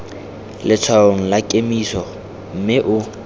letshwaong la kemiso mme o